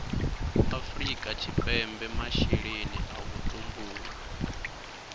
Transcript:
afrika tshipembe masheleni a vhutumbuli